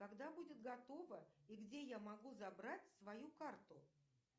когда будет готова и где я могу забрать свою карту